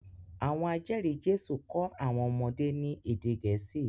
Àwọn ajeri Jésù ko àwọn ọmọdé ní ède Gẹ̀ẹ́sì